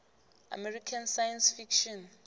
american science fiction